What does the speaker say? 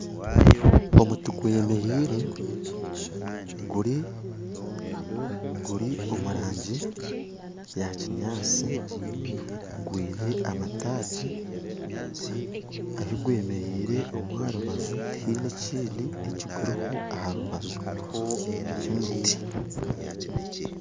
Omuti gwemeriire guri omurangi ya kyinyatsi gwine amataagi, ahigwemeriire omu aharubaju tihaine ekindi ekiriho.